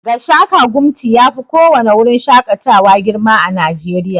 Gashaka-gumti yafi ko wani wurin shakatawa girma a najeriya